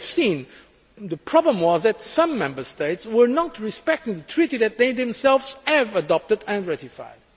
As we have seen, the problem was that some Member States did not respect the treaty that they themselves had adopted and ratified.